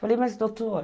Falei, mas doutor...